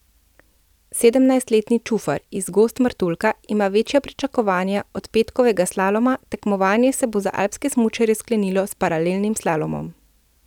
Sedemnajstletni Čufar iz Gozd Martuljka ima večja pričakovanja od petkovega slaloma, tekmovanje se bo za alpske smučarje sklenilo s paralelnim slalomom.